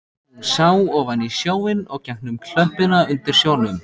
Hún sá ofan í sjóinn og gegnum klöppina undir sjónum.